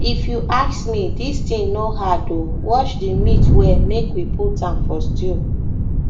if you ask me dis thing no hard oo wash the meat well make we put a for stew